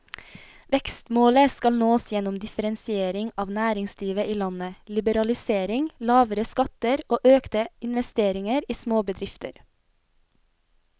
Vekstmålet skal nås gjennom differensiering av næringslivet i landet, liberalisering, lavere skatter og økte investeringer i småbedrifter.